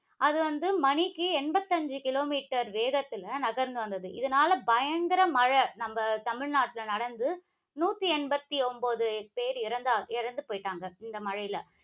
அது வந்து மணிக்கு எண்பத்தி ஐந்து கிலோ மீட்டர் வேகத்தில நகர்ந்து வந்தது இதனால பயங்கர மழை நம்ம தமிழ்நாட்டில நடந்து நூற்றி எண்பத்தி ஒன்பது பேர் இறந்தா இறந்து போயிட்டாங்க இந்த மழைல